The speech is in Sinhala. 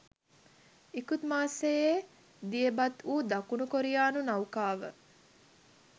ඉකුත් මාසයේ දියබත්වූ දකුණු කොරියානු නෞකාව